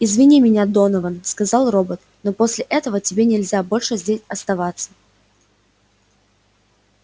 извини меня донован сказал робот но после этого тебе нельзя больше здесь оставаться